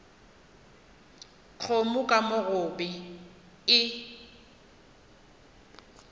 kgomo ka mo gobe e